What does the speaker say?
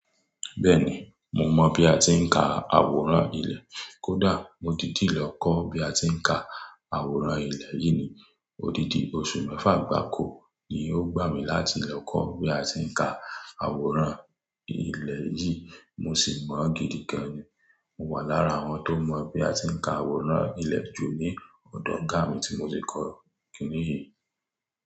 Bẹ́ẹ̀ni, mo mọ̀ bí a ti ń ka àwòrán ilẹ̀. Kódà mo ti dìlẹ̀ kọ́ bí a ti ń ka àwòrán ilẹ̀ yìí ni òdidi oṣù mẹ́fà gbáko ni ó gbà mí láti lè kọ́ bí a ti ń ka àwòrán ilẹ̀ yìí mo sì mọ̀ gidi gan. Mo wà lára àwọn tó mọ̀ bí a ti ń ka àwòrán ilẹ̀ ju ní ọdún karùn-ún tí mo ti kọ́ kìní yìí.